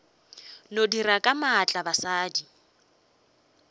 no dira ka maatla basadi